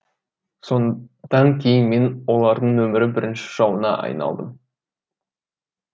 содан кейін мен олардың нөмірі бірінші жауына айналдым